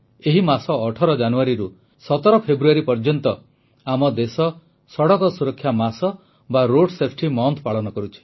ଏହି ମାସ 18 ଜାନୁଆରୀରୁ 17 ଫେବୃଆରୀ ପର୍ଯ୍ୟନ୍ତ ଆମ ଦେଶ ସଡ଼କ ସୁରକ୍ଷା ମାସ ବା ରୋଡ୍ ସେଫଟି ମୋଣ୍ଠ ପାଳନ କରୁଛି